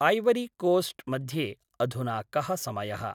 ऐवरिकोस्ट् मध्ये अधुना कः समयः?